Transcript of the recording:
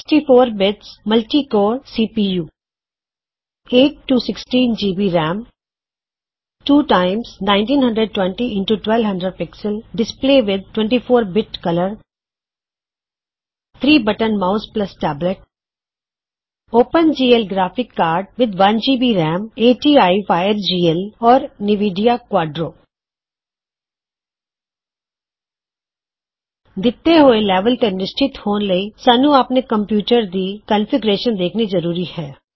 64 bits multi core CPU 8 16 GB RAM two times 1920 x 1200 PX display with 24 bit colour 3 button mouse tablet open GL graphics card with 1 GB RAM ATI FireGL or Nvidia Quadro ਦਿੱਤੇ ਹੋੲ level ਤੋ ਨਿਸ਼ਚਿੰਤ ਹੋਣ ਲਈ ਸਾਨੂੰ ਆਪਣੇ computer ਦੀ ਰੂਪ ਰੇਖਾ ਦੇਖਨੀ ਜਰੂਰੀ ਹੈ